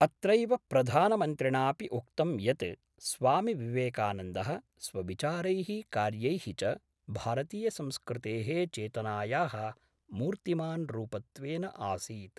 अत्रैव प्रधानमन्त्रिणापि उक्तं यत् स्वामिविवेकानन्दः स्वविचारैः कार्यैः च भारतीयसंस्कृतेः चेतनायाः मूर्तिमान् रूपत्वेन आसीत्।